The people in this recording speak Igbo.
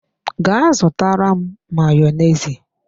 Ga zutara m Mayonezi!